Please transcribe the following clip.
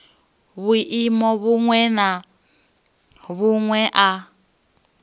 vhuimo vhuṅwe na vhuṅwe a